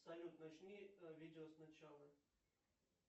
салют начни видео сначала